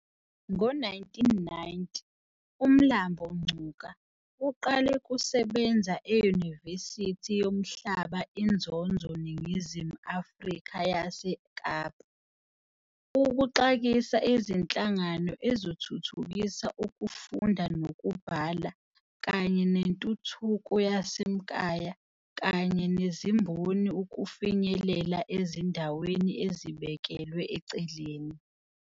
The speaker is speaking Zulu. Ngo 1990, uMlambo-Ngcuka uqalw kusebenza uyinivesithi yomhlaba inzonzo Ninginzimu Afrika yase eKapa, ukuxaksa izinhlangano ezothuthukisa ukufunda nokubhala kanye nenthuthukoyase mkaaya kanya nezimboni ukufinyelela ezindaweni ezibekelwe eceleni.